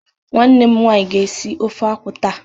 Nwannem nwaanyị ga esi ofe akwụ taa.